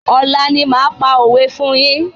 Ọ̀la ni máa pa òwé fún yín.